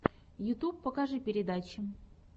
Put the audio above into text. ютьюб покажи передачи